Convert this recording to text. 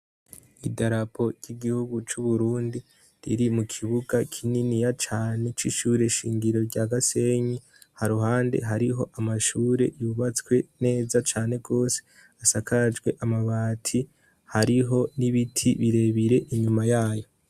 idarapo ry'igihugu c'uburundi riri mu kibuga kinini ya cane c'ishure shingiro rya gasenyi ha ruhande hariho amashure yubatswe neza cane gose asakajwe amabati hariho n'ibiti birebire inyuma yayo